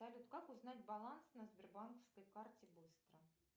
салют как узнать баланс на сбербанковской карте быстро